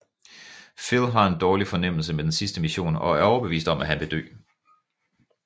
Phil har en dårlig fornemmelse med den sidste mission og er overbevist om at han vil dø